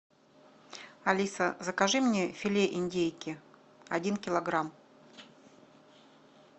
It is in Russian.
алиса закажи мне филе индейки один килограмм